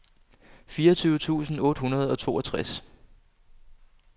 fireogtyve tusind otte hundrede og toogtres